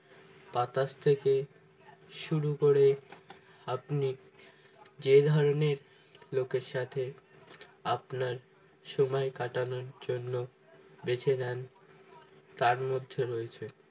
বাতাস থেকে শুরু করে আপনি যে ধরনের লোকের সাথে আপনার সময় কাটানোর জন্য বেছে নেন তার মধ্যে রয়েছে